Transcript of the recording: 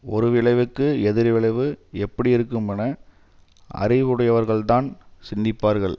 ஒரு விளைவுக்கு எதிர் விளைவு எப்படியிருக்குமென அறிவுடையவர்கள் தான் சிந்திப்பார்கள்